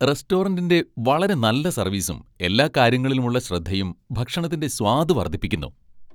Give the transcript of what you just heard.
റെസ്റ്റോറന്റിന്റെ വളരെ നല്ല സർവീസും ,എല്ലാ കാര്യങ്ങളിലുമുള്ള ശ്രദ്ധയും ഭക്ഷണത്തിന്റെ സ്വാദ് വർദ്ധിപ്പിക്കുന്നു.